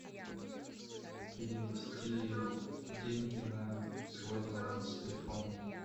перевести деньги на свой баланс телефона